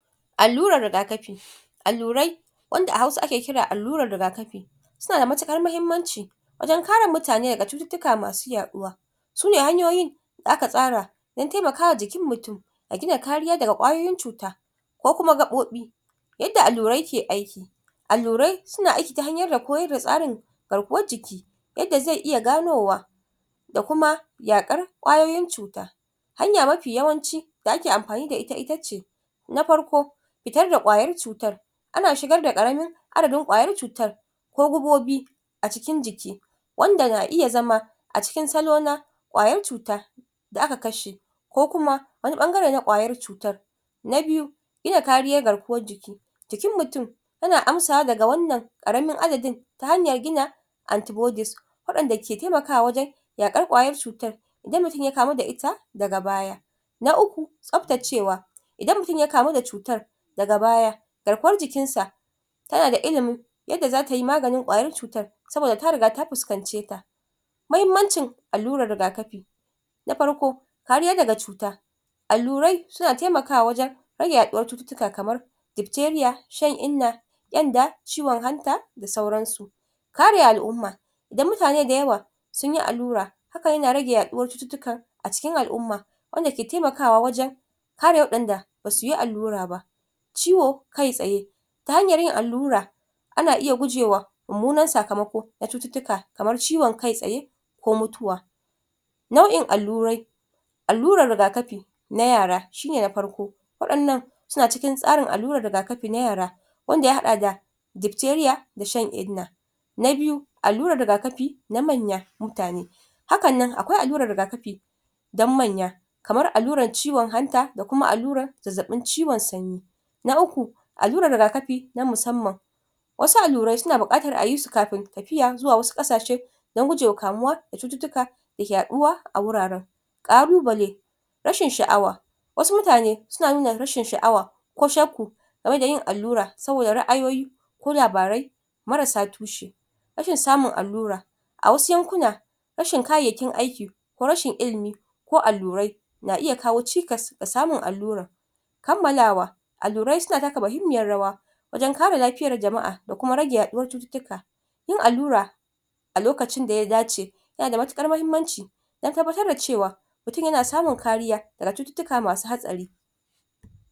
allurar riga kafi allurai wanda a hausa ake kira allurar riga kafi suna da matukar mahimmanci wajen kare mutane daga cututtuka masu yaduwa sune hanyoyin da aka tsara don taimakawa jikin mutum da gina kariya daga kwayoyin cuta ko kuma gabobi yadda allurai ke aiki allurai suna aiki ta hanyoyi dake koyar da tsarin garkuwar jiki yadda zai iya ganowa da kuma yakar kwayoyin cuta hanya mafi yawanci itace na farko fitar da kwayar cutar ana shigar da karamin addadin kwayar cutar ko gubobi a cikin jiki wanda ke iya zama a cikin salona kwayar cuta da aka kashe ko kuma wani bangare na kwayar cutar na biyu iya kariyar garkuwar jiki jikin mutum ana amsawa daga wannan karamin adadin ta hanyar gina anty bodies wadanda ke taimakwa wajen yakar kwayar chutar idan mutum ya kamu da ita daga baya na ukku tsabtacewa idan mutum ya kamu da cutan daga baya garkuwar jikin sa kana da ilimin yadda zatayi maganin kwayar cutai saboda ta riga ta fuskance ta mahimmancin allurar riga kafi na farko kariya daga cuta allurai suna taimakawa wajen rage yaduwar cututtuka kamar dipteriya shan inna kyanda ciwon anta da sauran su kare al'umma da mutane da yawa sunyi allura hakan yana rage yaduwar cututtika a cikin al'uma wanda ke taimakwa wajen kare wadanda basuyi allura ba ciwo kai tsaye ta hanyar yin allura ana iya gujewa mummunan sakamako da cututtuka kamar ciwon kai tsaye ko mutuwa nau'in allurai allurar riga kafi ta yara shine na farko wadannan suna cikin suna cikin tsarin allurar riga kafi na yara wanda ya hada da dipteriya da shan inna na biyu allurar riga kafi na manyan mutane haka nan akwai allurar riga kafi don manya kamar allurar ciwon anta da kuma allurar zazzabin cizon sauro na ukku allurar riga kafi na musamman wasu allurai suna bukatar ayi su kafin tafiya zuwa wasu kasashe don gujema kamuwa da cututtuka dake yaduwa a wuraren kalubalai rashin saawa wasu mutane suna nuna rashin sha'awa ko shakku game da yin allura saboda ra'ayoyi ko labarai marasa tushe rashin samun alluraa wasu yankuna rashin kayayyaki aiki ko rashin ilimi ko allurai na iya kawo cikas ka samun allura kammalawa allurai suna taka mahimmiyar rawa wajen kare lafiyar jama'a ko kuma wajen rage yaduwar cututtika yin allura a lokacin daya dace yana da matukar mahimmanci don tabbatar da cewa mutum yana samun kariya daga cutiuttika masu hatsari